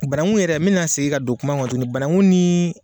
Banaku yɛrɛ n bɛna segin ka don kuma kɔnɔna na tunguni banaku ni.